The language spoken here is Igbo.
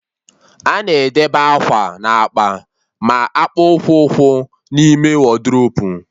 A na-edebe akwa na akpa ma akpụkpụ ụkwụ n'ime wodrobu